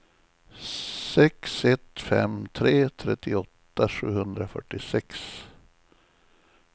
sex ett fem tre trettioåtta sjuhundrafyrtiosex